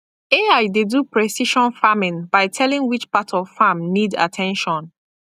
ai dey do precision farming by telling which part of farm need at ten tion